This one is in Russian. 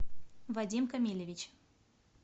вадим камильевич